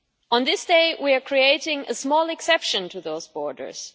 On this day we are creating a small exception to those borders.